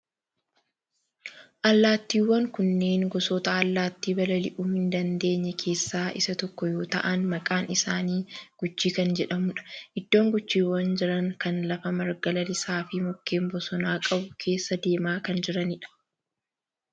Allaattiiwwan kunneen gosoota allaattii balali'uu hin dandeenye keessaa isa tokko yoo ta'aan maqaan isaanii guchii kan jedhamudha. Iddoon guchiiwwan jiran kana lafa marga lalisaa fi mukkeen bosonaa qabu keessa deemaa kan jiranidha.